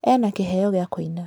Ena kĩheo gĩa kũina